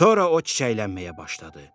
Sonra o çiçəklənməyə başladı.